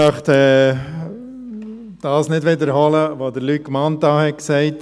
Ich möchte nicht wiederholen, was Luc Mentha gesagt hat.